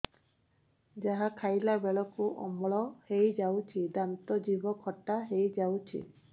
ଯାହା ଖାଇଲା ବେଳକୁ ଅମ୍ଳ ହେଇଯାଉଛି ଦାନ୍ତ ଜିଭ ଖଟା ହେଇଯାଉଛି